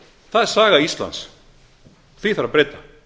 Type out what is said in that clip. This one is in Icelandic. það er saga íslands því þarf að breyta